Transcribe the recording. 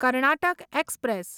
Karnataka express